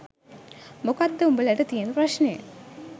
මොකක්ද උඹලට තියෙන ප්‍රශ්නය.